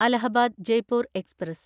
Allahabad Jaipur express